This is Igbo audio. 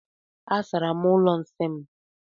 Asara m ụlọ nsị m.